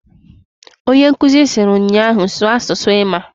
Onyenkuzi siri nnyaahu "Sụọ asụsụ ịmaǃ"